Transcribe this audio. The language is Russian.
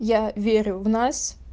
я верю в нас